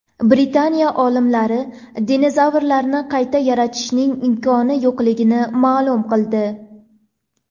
Britaniya olimlari dinozavrlarni qayta yaratishning imkoni yo‘qligini ma’lum qildi.